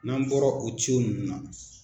N'an bɔra o ninnu na.